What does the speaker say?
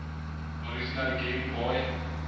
original game boy